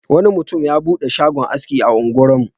Wani mutum ya buɗe shagon aski a unguwarmu.